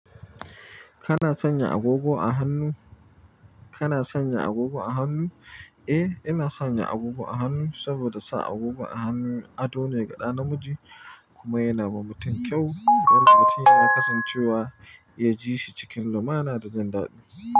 Kana sanya agogo a hannu? Kana sanya agogo a hannu? Eh, ina sanya agogo a hannu saboda sa agogo a hannu ado ne ga ɗa namiji kuma yana ba mutum kyau. Yadda mutum yana kasancewa, ya ji shi cikin lumana da dandalin.